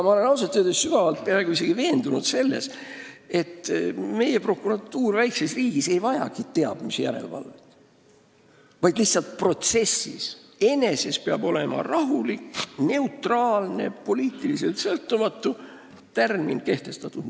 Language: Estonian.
Ma olen ausalt öeldes peaaegu et veendunud selles, et meie prokuratuur siin väikses riigis ei vajagi teab mis järelevalvet, lihtsalt protsessis eneses peab olema kehtestatud rahulik, neutraalne ja poliitiliselt sõltumatu tärmin.